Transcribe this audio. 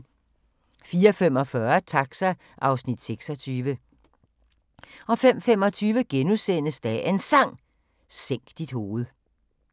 04:45: Taxa (Afs. 26) 05:25: Dagens Sang: Sænk dit hoved *